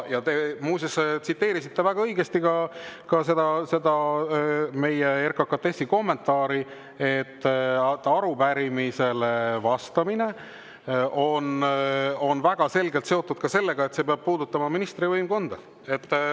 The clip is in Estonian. Muuseas, te tsiteerisite väga õigesti ka seda RKKTS‑i kommentaari, et arupärimisele vastamine on väga selgelt seotud ka sellega, et see peab puudutama ministri võimkonda.